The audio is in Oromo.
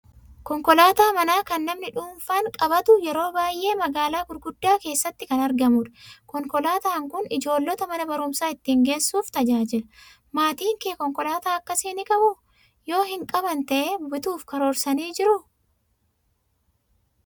Konkolaataa manaa kan namni dhuunfaan qabatu, yeroo baay'ee magaalaa gurguddaa keessatti kan argamudha. Konkolaataan kun ijoollota mana barumsaa ittiin geessuuf tajaajila. Maatiin kee konkolaataa akkasii ni qabuu? Yoo hin qaban ta'ee bituuf karoorsanii jiruu?